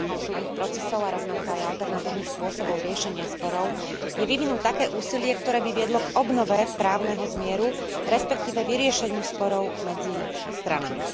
Snahou súdnych procesov a rovnako aj alternatívnych spôsobov riešenia sporov je vyvinúť také úsilie, ktoré by viedlo k obnove právneho zmieru, respektíve k vyriešeniu sporov medzi stranami.